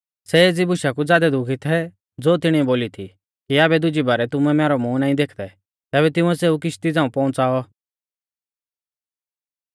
सै एज़ी बुशा कु ज़ादै दुखी थै ज़ो तिणीऐ बोली थी कि आबै दुजी बारै तुमै मैरौ मूंह नाईं देखदै तैबै तिंउऐ सेऊ किश्ती झ़ांऊ पौउंच़ाऔ